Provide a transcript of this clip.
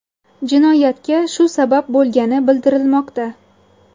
Jinoyatga shu sabab bo‘lgani bildirilmoqda.